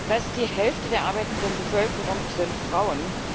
Fast die Hälfte der arbeitenden Bevölkerung sind Frauen.